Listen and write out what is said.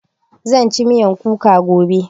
Zan ci miyan kuka gobe